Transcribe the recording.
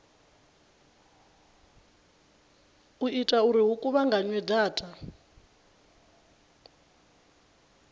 ita uri hu kuvhunganywe data